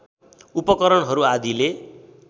उपकरणहरू आदिले